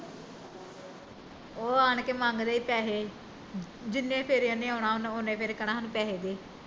ਉਹ ਆਣ ਕੇ ਮੰਗਦੇ ਈ ਪੈਸੇ ਜਿੰਨੀ ਫੇਰੇ ਉਹਨੀ ਆਉਣਾ ਊਣੇ ਫੇਰੇ ਕਹਿੰਨਾ ਸਾਨੂੰ ਪੈਸੇ ਦੇ